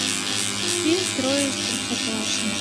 фильм трое из простоквашино